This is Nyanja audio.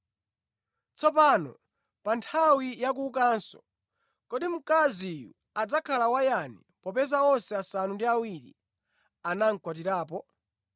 Tsopano, pa nthawi ya kuukanso, kodi mkaziyu adzakhala wayani popeza onse asanu ndi awiri anamukwatirapo?”